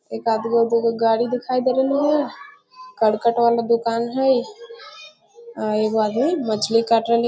एक आद गो दू गो गाड़ी देखाए दे रहले हेय करकट वाला दोकान हेय अ एगो आदमी मछली काट रहले ।